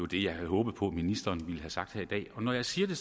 det jeg havde håbet på at ministeren ville have sagt her i dag når jeg siger det